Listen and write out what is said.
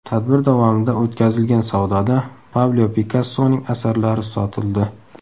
Tadbir davomida o‘tkazilgan savdoda Pablo Pikassoning asarlari sotildi.